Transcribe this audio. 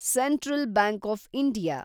central bank of India